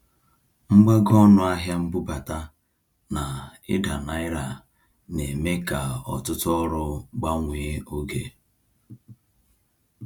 Mgbago ọnụ ahịa mbubata na ida naira na-eme ka ọtụtụ ọrụ gbanwee oge.